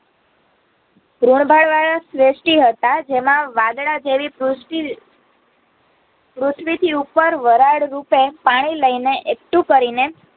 ઋણભાળ વાળા શ્રેષટી હતા જેમાં વાદળાં જેવી પૃષ્ટી પૃથ્વીથી ઉપર વરાળ રૂપે પાણી લઈને કરીને